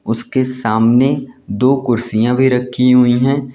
उसके सामने दो कुर्सियां भी रखी हुई हैं।